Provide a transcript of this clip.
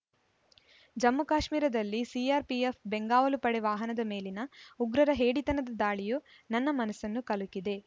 ಜಮ್ಮುಕಾಶ್ಮೀರದಲ್ಲಿ CRPF ಬೆಂಗಾವಲು ಪಡೆ ವಾಹನದ ಮೇಲಿನ ಉಗ್ರರ ಹೇಡಿತನದ ದಾಳಿಯು ನನ್ನ ಮನಸ್ಸನ್ನು ಕಲಕಿದೆ